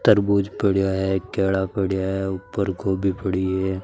तरबूज पड़ा है केला पड़ा है उपर गोभी पड़ी है।